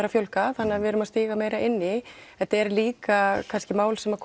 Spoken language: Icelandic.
að fjölga þannig við erum að stíga meira inn í þetta eru líka mál sem